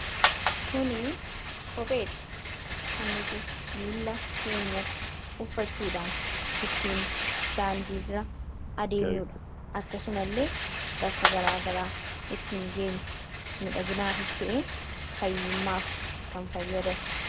kuni kopheedha kan nuti miila keenyatti uffachuudhaan ittiin daandiira adeemnuudha akkasuma illee bakka garaagaraa ittiin geenyu midha ginaafista'e fayyimmaaf kan fayyadan